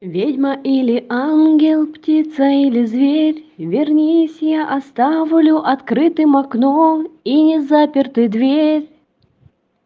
ведьма или ангел птица или зверь вернись я оставлю открытым окно и заперты дверь